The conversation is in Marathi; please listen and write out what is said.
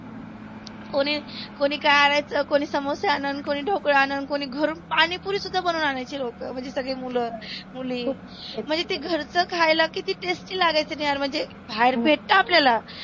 कोणी कोणी काय आनायच कोणी समोसे आनन, कोणी ढोकळा आनन, कोणी घरुण पाणि पुरी सुद्धा बनवून आनायचे लोक. म्हणजे सगळे मुल मुली, म्हणजे ते घरच खायला किती tasty लागायचना यार म्हणजे. बाहेर भेटत आपल्याला.